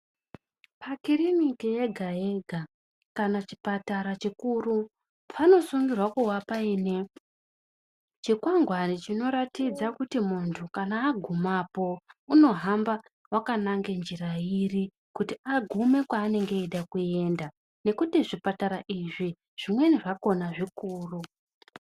Pakiriniki yega yega kana chibhedhlera chikuru, panosungirwa kuwa paine chikwangwani chinoratidza kuti muntu kana agumapo unohamba wakanange njira iri, kuti agume kwaanenge eida kuenda. Nekuti zvibhedhlera izvi zvimweni zvakona zvikuru.